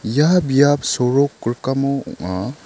ia biap sorok rikamo ong·a.